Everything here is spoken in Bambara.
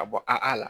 Ka bɔ a la